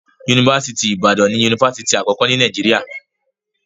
Yunifásítì Ìbàdàn ni yunifásítì àkọ́kọ́ ní Nàìjíríà.